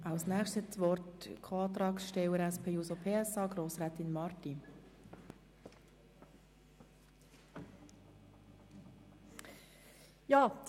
Als Nächste hat die Co-Antragstellerin seitens der SP-JUSO-PSA-Fraktion, Grossrätin Marti, das Wort.